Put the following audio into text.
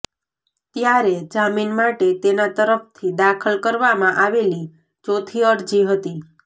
ત્યારે જામીન માટે તેના તરફથી દાખલ કરવામાં આવેલી ચોથી અરજી હતી